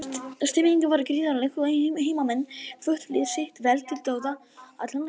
Stemmingin var gríðarleg og heimamenn hvöttu lið sitt vel til dáða allan leikinn.